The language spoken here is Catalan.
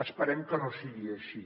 esperem que no sigui així